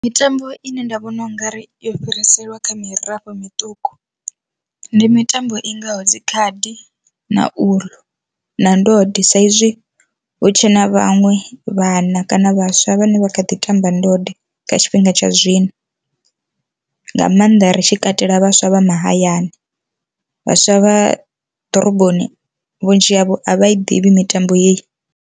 Mitambo ine nda vhona u ngari yo fhiriselwa kha mirafho miṱuku ndi mitambo i ngaho dzi khadi na uḽu na ndode, sa izwi hu tshe na vhaṅwe vhana kana vha vhaswa vhane vha kha ḓi tamba ndode kha tshifhinga tsha zwino. Nga maanḓa ri tshi katela vhaswa vha mahayani vhaswa vha ḓoroboni vhunzhi havho a vha ḓivhi mitambo heyi.